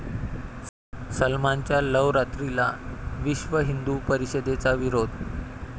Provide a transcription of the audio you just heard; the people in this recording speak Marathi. सलमानच्या 'लवरात्री'ला विश्व हिंदू परिषदेचा विरोध